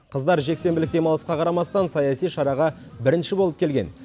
қыздар жексенбілік демалысқа қарамастан саяси шараға бірінші болып келген